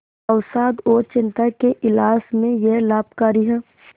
अवसाद और चिंता के इलाज में यह लाभकारी है